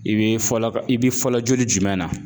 I bɛ fɔlɔ ka, i bɛ fɔlɔ joli jumɛn na?